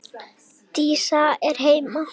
Dísa er heima!